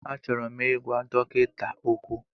Achọrọ m ịgwa dọkịta okwu.